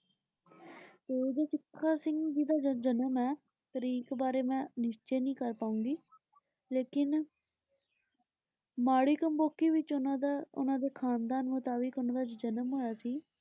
ਤੇ ਇਹਦੇ ਚ ਸੁੱਖਾ ਸਿੰਘ ਜੀ ਦਾ ਜੋ ਜਨਮ ਏ, ਤਾਰੀਕ ਬਾਰੇ ਮੈਂ ਨਿਸ਼ਚੇ ਨਹੀਂ ਕਰ ਪਾਊਂਗੀ ਲੇਕਿਨ ਮਾੜੀ ਕੰਬੋਕੀ ਵਿਚ ਉਨ੍ਹਾਂ ਦਾ ਉਨ੍ਹਾਂ ਦੇ ਖਾਨਦਾਨ ਮੁਤਾਬਿਕ ਉਨ੍ਹਾਂ ਦਾ ਜਨਮ ਹੋਇਆ ਸੀ।